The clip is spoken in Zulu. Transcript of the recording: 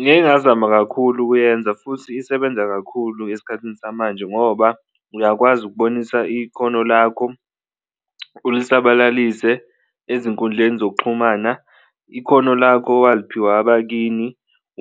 Ngike ngazama kakhulu ukuyenza futhi isebenza kakhulu esikhathini samanje ngoba uyakwazi ukubonisa ikhono lakho ulisabalalise ezinkundleni zokuxhumana, ikhono lakho owaliphiwa abakini